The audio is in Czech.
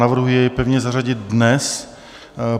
Navrhuji jej pevně zařadit dnes.